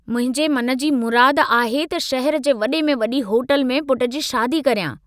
मुंहिंजे मन जी मुराद आहे त शहर जे वडे में वड़ी होटल में पुट जी शादी करियां।